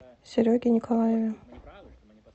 сереге николаеве